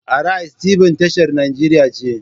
Arise TB tashar nigeria ce.